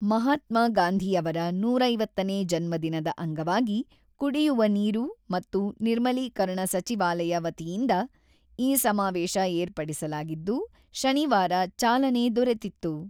ಮಹಾತ್ಮಗಾಂಧಿ ಅವರ ನೂರ ಐವತ್ತನೇ ಜನ್ಮ ದಿನದ ಅಂಗವಾಗಿ ಕುಡಿಯುವ ನೀರು ಮತ್ತು ನಿರ್ಮಲೀಕರಣ ಸಚಿವಾಲಯ ವತಿಯಿಂದ ಈ ಸಮಾವೇಶ ಏರ್ಪಡಿಸಲಾಗಿದ್ದು, ಶನಿವಾರ ಚಾಲನೆ ದೊರೆತಿತ್ತು.